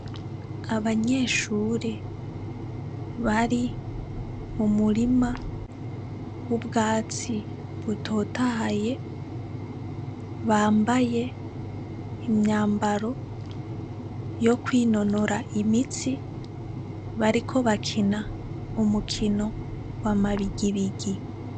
Abanyeshure bari m'umurima w'ubwatsi butotahaye, bambaye imyambaro yo kwinonora imitsi, bariko bakina umukino wa mabigibigi.